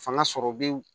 Fanga sɔrɔ bɛ